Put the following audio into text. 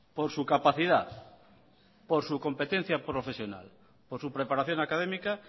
por su capacidad por su competencia profesional por su preparación académica